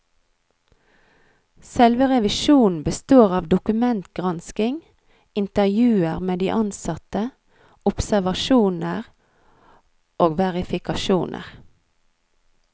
Selve revisjonen består av dokumentgransking, intervjuer med de ansatte, observasjoner og verifikasjoner.